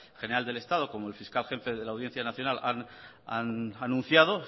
general del estado como el fiscal jefe de la audiencia nacional han anunciado